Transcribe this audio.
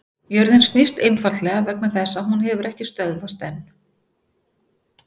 jörðin snýst einfaldlega vegna þess að hún hefur ekki stöðvast enn!